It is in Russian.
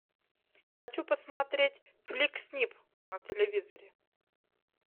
хочу посмотреть флик снип на телевизоре